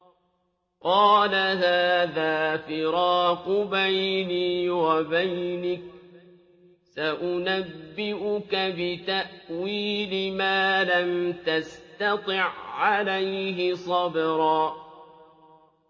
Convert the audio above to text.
قَالَ هَٰذَا فِرَاقُ بَيْنِي وَبَيْنِكَ ۚ سَأُنَبِّئُكَ بِتَأْوِيلِ مَا لَمْ تَسْتَطِع عَّلَيْهِ صَبْرًا